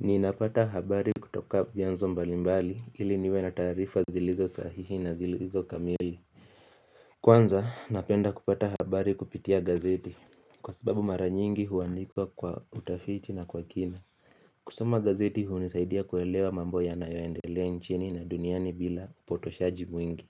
Niinapata habari kutoka vyanzo mbalimbali ili niwe na taarifa zilizo sahihi na zilizo kamili Kwanza napenda kupata habari kupitia gazeti kwa sababu mara nyingi huwandikwa kwa utafiti na kwa kina kusoma gazeti hunizaidia kuelewa mambo ya nayoendelea nchini na duniani bila upotoshaji mwingi